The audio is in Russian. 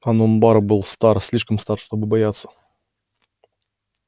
онум бар был стар слишком стар чтобы бояться